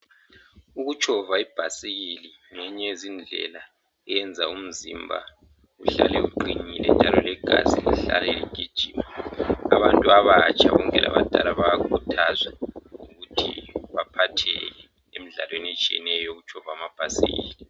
Ukutshova ibhasikili ngenye yezindlela eyenza umzimba uhlale uqinile njalo legazi lihlale ligijima .Abantu abatsha konke labadala bayakhuthazwa ukuthi baphatheke emdlalweni etshiyeneyo yokutshova amabhasikili.